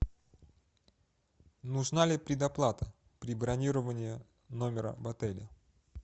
нужна ли предоплата при бронировании номера в отеле